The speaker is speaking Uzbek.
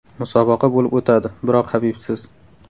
Musobaqa bo‘lib o‘tadi, biroq Habibsiz.